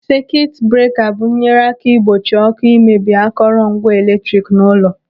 Sekit breka bụ nyere aka ịgbochi ọ́kụ́ imebi akọrọ ngwa eletrik n'ụlọ.